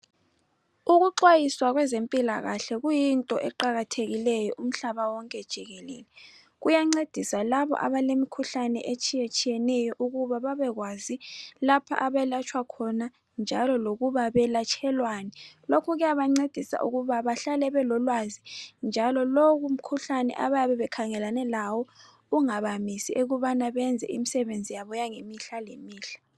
Ukuxwayisa kwezempilakahle kuyinto eqakathekileyo umhlaba wonke jikelele. Kuyancedisa labo abalemikhuhlane etshiyetshiyeneyo ukuba babekwazi lapha abelatshwa khona njalo lokuba belatshelwani .Lokhu kuyabancedisa ukuba bahlale belolwazi njalo lowu mkhuhlane abayabe bekhangelane lawo ungabamisi ukubana benze imisebenzi yabo yange mihla le mihla.